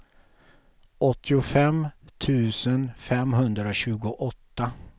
åttiofem tusen femhundratjugoåtta